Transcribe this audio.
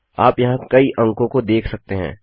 आप यहाँ कई अंको को देख सकते हैं